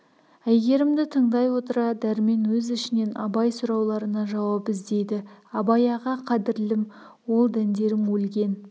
әйгерімді тыңдай отыра дәрмен өз ішінен абай сұрауларына жауап іздейді абай аға қадірлім ол дәндерің өлген